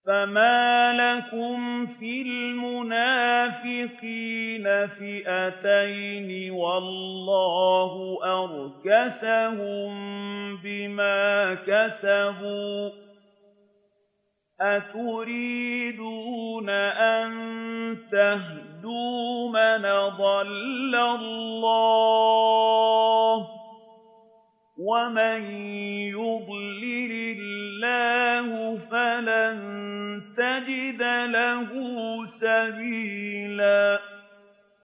۞ فَمَا لَكُمْ فِي الْمُنَافِقِينَ فِئَتَيْنِ وَاللَّهُ أَرْكَسَهُم بِمَا كَسَبُوا ۚ أَتُرِيدُونَ أَن تَهْدُوا مَنْ أَضَلَّ اللَّهُ ۖ وَمَن يُضْلِلِ اللَّهُ فَلَن تَجِدَ لَهُ سَبِيلًا